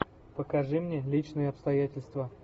покажи мне личные обстоятельства